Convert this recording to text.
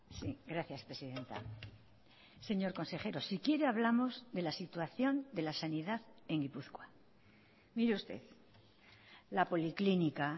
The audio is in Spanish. sí gracias presidenta señor consejero si quiere hablamos de la situación de la sanidad en gipuzkoa mire usted la policlínica